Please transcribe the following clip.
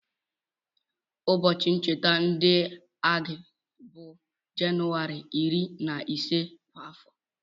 Ụbọchị ncheta ndị agha bụ Jenụwarị iri na ise kwa afọ.